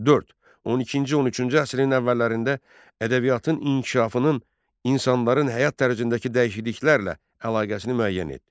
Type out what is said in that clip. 4. 12-ci 13-cü əsrin əvvəllərində ədəbiyyatın inkişafının insanların həyat dərəcəsindəki dəyişikliklərlə əlaqəsini müəyyən et.